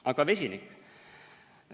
Aga vesinik?